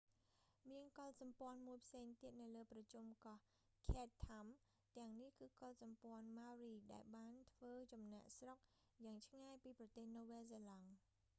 មានកុលសម្ព័ន្ធមួយផ្សេងទៀតនៅលើប្រជុំកោះ chatham ទាំងនេះ គឺកុលសម្ព័ន្ maori ដែលបានធ្វើចំណាកស្រុកយ៉ាងឆ្ងាយពីប្រទេសនូវែលសេឡង់